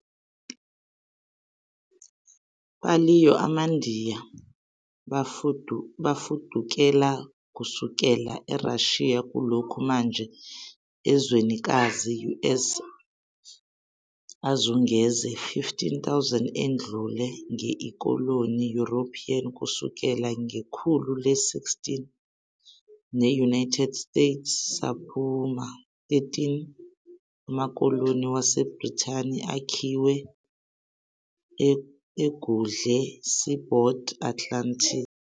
Paleo-amaNdiya bafudukela kusukela Eurasia kulokho manje ezwenikazi US azungeze 15,000 edlule, nge ikoloni European Kusukela ngekhulu le-16. The United States saphuma 13 amakoloni waseBrithani akhiwe egudle seaboard Atlantic.